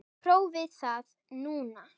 Prófið það núna.